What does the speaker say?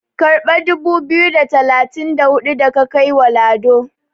karbi dubu biyu da talatin da hudu da ka kai wa Lado"!